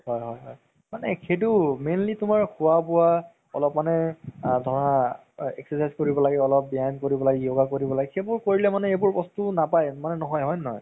হয় হয় হয় মানে সেইটো mainly খুৱা বুৱা অলপমানে ধৰা exercise কৰিব লাগে অলপ ব্যায়াম কৰিব লাগে yoga কৰিব লাগে সেইবোৰ কৰিলে মানে এইবোৰ বস্তু নাপাই মানে নহয় হয় নে নহয়